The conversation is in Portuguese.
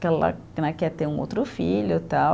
Que ela né quer ter um outro filho e tal.